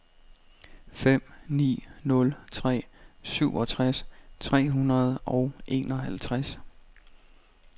fem ni nul tre syvogtres tre hundrede og enoghalvtreds